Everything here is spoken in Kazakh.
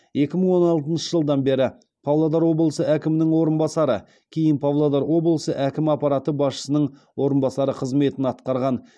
екі мың он алтыншы жылдан бері павлодар облысы әкімінің орынбасары кейін павлодар облысы әкімі аппараты басшысының орынбасары қызметін атқарған